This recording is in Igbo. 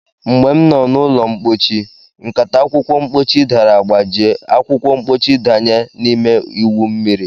Mgbe m no na ulo mpochi, nkata akwukwo mpochi dara gbajie, akwukwo mpochi danye na-ime iwu mmiri